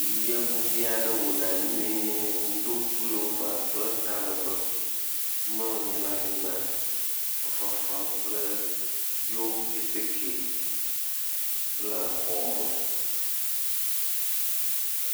Yevuvi aɖe wo ɖa nyuie do pulova kple talegbẽ, mlɔ anyi ɖe anyigba fefe fem kple yewo keteke le xɔme.